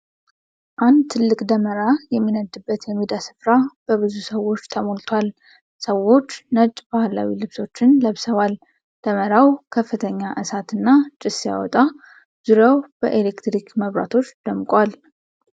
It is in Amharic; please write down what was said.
አንድ ትልቅ ደመራ የሚነድበት የሜዳ ሥፍራ በብዙ ሰዎች ተሞልቷል። ሰዎች ነጭ ባህላዊ ልብሶችን ለብሰዋል። ደመራው ከፍተኛ እሳትና ጭስ ሲያወጣ፣ ዙሪያው በኤሌክትሪክ መብራቶች ደምቋል።